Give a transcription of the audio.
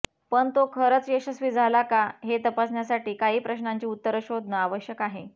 पण तो खरंच यशस्वी झाला का हे तपासण्यासाठी काही प्रश्नांची उत्तरं शोधणं आवश्यक आहे